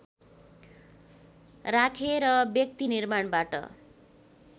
राखेर व्यक्ति निर्माणबाट